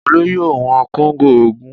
Olú yóò wọn kóńgò ogún